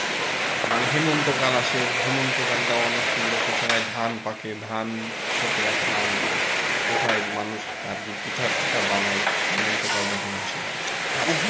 মানে হেমন্তকাল আসে হেমন্তকালটাও অনেক সুন্দর সেই সময় ধান পাকে ধান কৃষকেরা ধান ওঠায় মানুষ আর কি পিঠা টিঠা বানায় হেমন্তকাল যখন আসে আর কি,